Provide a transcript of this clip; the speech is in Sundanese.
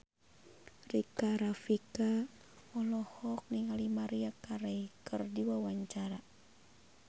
Rika Rafika olohok ningali Maria Carey keur diwawancara